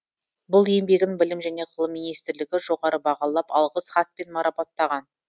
бұл еңбегін білім және ғылым минстрлігі жоғары бағалап алғыс хатпен марапаттаған